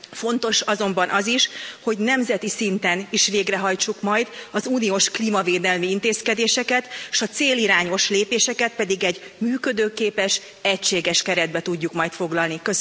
Fontos azonban az is, hogy nemzeti szinten is végrehajtsuk majd az uniós klímavédelmi intézkedéseket, s a célirányos lépéseket pedig egy működőképes egységes keretbe tudjuk majd foglalni.